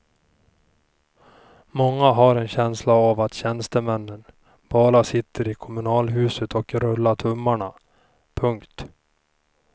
Många har en känsla av att tjänstemännen bara sitter i kommunalhuset och rullar tummarna. punkt